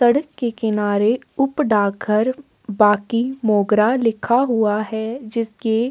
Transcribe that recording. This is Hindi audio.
सड़क के किनारे उपडा घर बाकि मोंगरा लिखा हुआ है जिसके --